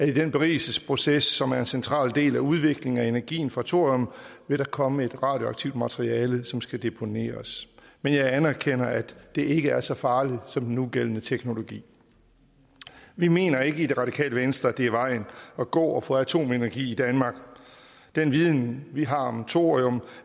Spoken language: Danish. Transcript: i den berigelsesproces som er en central del af udviklingen af energien fra thorium vil komme et radioaktivt materiale som skal deponeres men jeg anerkender at det ikke er så farligt som den nugældende teknologi vi mener i radikale venstre det er vejen at gå at få atomenergi i danmark og den viden vi har om thorium